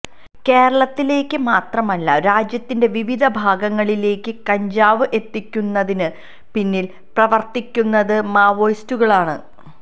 കേരളത്തിലേക്ക് മാത്രമല്ല രാജ്യത്തിന്റെ വിവിധ ഭാഗങ്ങളിലേക്ക് കഞ്ചാവ് എത്തിക്കുന്നതിന് പിന്നില് പ്രവര്ത്തിക്കുന്നത് മാവോയിസ്റ്റുകളാണ്